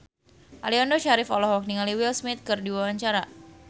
Aliando Syarif olohok ningali Will Smith keur diwawancara